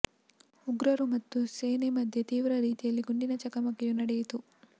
ಉಗ್ರರು ಮತ್ತು ಸೇನೆ ಮಧ್ಯೆ ತೀವ್ರ ರೀತಿಯಲ್ಲಿ ಗುಂಡಿನ ಚಕಮಕಿಯು ನಡೆಯಿತು